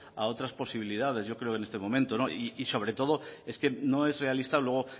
a otras posibilidades yo creo en este momento y sobre todo es que no es realista luego